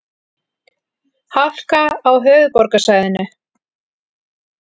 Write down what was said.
Hálka á höfuðborgarsvæðinu